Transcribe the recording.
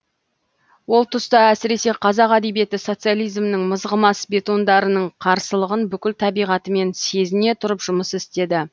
ол тұста әсіресе қазақ әдебиеті социализмнің мызғымас бетондарының қарсылығын бүкіл табиғатымен сезіне тұрып жұмыс істеді